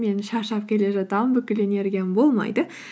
мен шаршап келе жатамын бүкіл энергиям болмайды